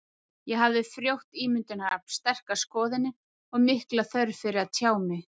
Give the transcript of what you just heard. Ég hafði frjótt ímyndunarafl, sterkar skoðanir og mikla þörf fyrir að tjá mig.